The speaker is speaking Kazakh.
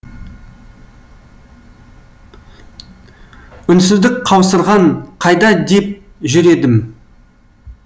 үнсіздік қаусырған қайда деп жүр едім